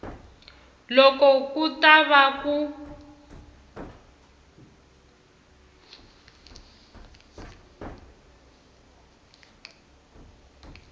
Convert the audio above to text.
loko ku ta va ku